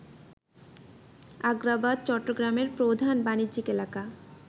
আগ্রাবাদ, চট্টগ্রামের প্রধান বাণিজ্যিক এলাকা